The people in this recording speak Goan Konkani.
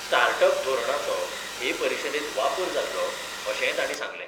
स्टार्ट अप धोरणाचो हे परिशदेंत वापर जातलो अशेंय तांणी सांगलें.